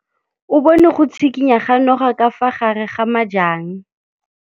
O bone go tshikinya ga noga ka fa gare ga majang.